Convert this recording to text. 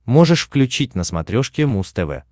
можешь включить на смотрешке муз тв